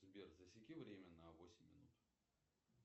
сбер засеки время на восемь минут